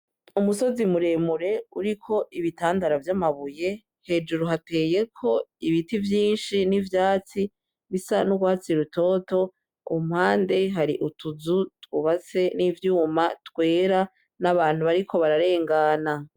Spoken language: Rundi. Umusozi muremure uriko ibitandara vy'amabuye hejuru hateyeko ibiti vyinshi n'ivyatsi bisa n'urwatsi rutoto umpande hari utuzu twubase n'ivyuma twera n'abantu bariko bararengana.